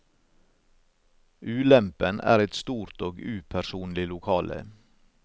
Ulempen er et stort og upersonlig lokale.